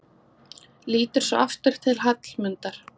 Lítur svo aftur til Hallmundar.